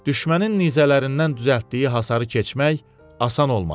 Düşmənin nizələrindən düzəltdiyi hasarı keçmək asan olmadı.